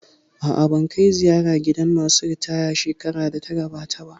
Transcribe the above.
A'a, ban kai ziyara gidan masu ritaya shekarar da ta gabata ba